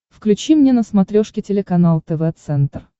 включи мне на смотрешке телеканал тв центр